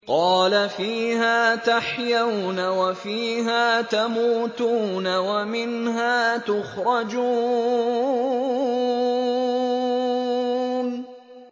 قَالَ فِيهَا تَحْيَوْنَ وَفِيهَا تَمُوتُونَ وَمِنْهَا تُخْرَجُونَ